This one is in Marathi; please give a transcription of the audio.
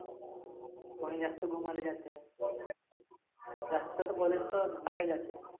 कोणी जास्ती घुमालेजाते. जास्त तर college घुमाले जाते.